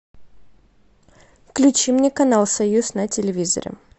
включи мне канал союз на телевизоре